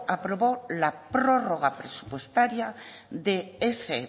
aprobó la prórroga presupuestaria de ese